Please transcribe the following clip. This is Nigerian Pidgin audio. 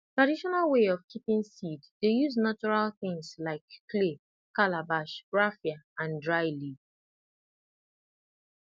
traditional way of keeping seed dey use natural things like clay calabash raffia and dry leaf